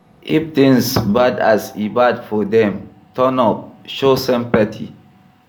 If things bad as e bad for them, turn up, show sympathy